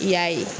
I y'a ye